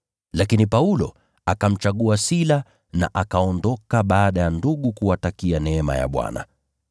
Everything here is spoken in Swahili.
Lakini Paulo akamchagua Sila na akaondoka baada ya ndugu kuwatakia neema ya Bwana.